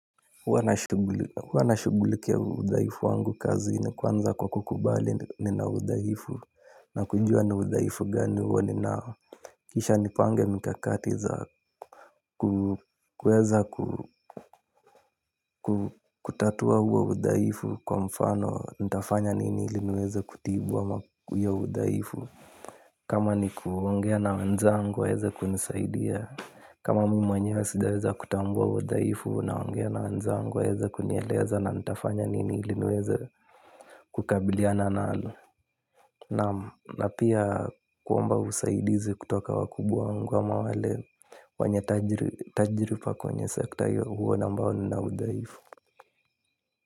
Huwa nashughulikia udhaifu wangu kazini kwanza kwa kukubali nina udhaifu, na kujua ni udhaifu gani huo ninao. Kisha nipange mikakati za kuweza kutatua huo udhaifu, kwa mfano nitafanya nini ili niweze kutibu ama hiyo udhaifu. Kama ni kuongea na wenzangu waweze kunisaidia. Kama mimi mwenyewe sitaweza kutambua udhaifu naongea na wenzangu waweze kunieleza, na nitafanya nini ili niweze kukabiliana nalo. Na pia kuomba usaidizi kutoka kwa wakubwa wangu wale wenye tajiriba katika sekta hiyo, ambao nina udhaifu.